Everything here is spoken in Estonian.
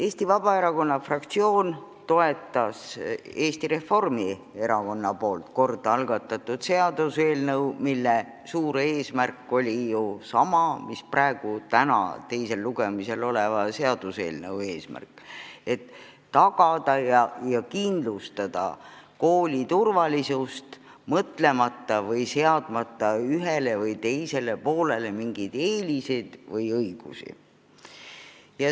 Eesti Vabaerakonna fraktsioon toetas Eesti Reformierakonna kord algatatud seaduseelnõu, mille suur eesmärk oli ju sama, mis täna teisel lugemisel oleva eelnõu eesmärk: kindlustada kooli turvalisust, seadmata ühele või teisele poolele mingeid eeliseid.